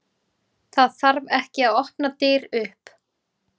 Það þarf ekki að opna dyr upp.